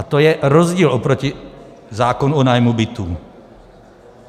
A to je rozdíl oproti zákonu o nájmu bytů.